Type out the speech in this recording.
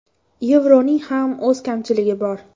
Yevroning ham o‘z kamchiligi bor.